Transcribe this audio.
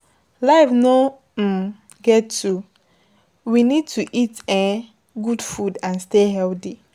Life no um get two, we need to eat um good food and stay healthy